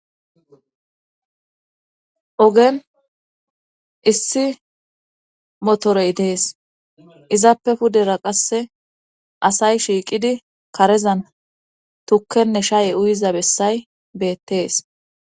Ogen issi motorey dees izappe pudera qasse asay shiiqidi karezan tukkenne shaye uyiza bessay beettees.